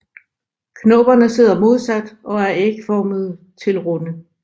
Knopperne sidder modsat og er ægformede til runde